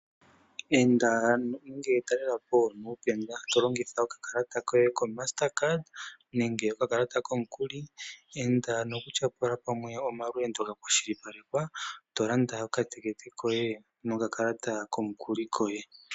Enda nenge talela po nuukeka to longitha oka kalata koye koMastercard nenge oka kalata komukuli, enda nokutyapula pamwe omalweendo ga kwashilipalekwa to landa oka tekete koye nokakalata komukuli koye.